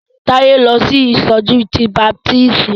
Táyé ń lọ fún ìsọjí ti baptisti.